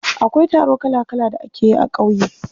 Akwai taro kala kala da ake yi a ƙauye.